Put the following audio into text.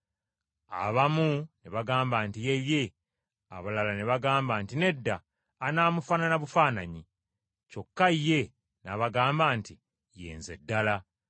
Abamu ne bagamba nti, “Ye ye,” abalala ne bagamba nti, “Nedda, anaamufaanana bufaananyi.” Kyokka ye n’abagamba nti, “Ye nze ddala.”